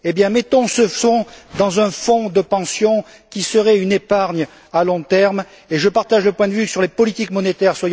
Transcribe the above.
mettons ce fonds dans un fonds de pension qui serait une épargne à long terme et je partage le point de vue sur les politiques monétaires.